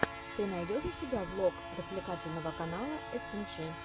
ты найдешь у себя влог развлекательного канала эсэндджи